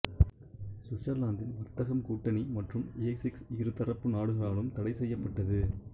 சுவிட்சர்லாந்தின் வர்த்தகம் கூட்டணி மற்றும் ஏக்சிஸ் இரு தரப்பு நாடுகளாலும் தடை செய்யப்பட்டது